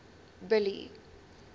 billy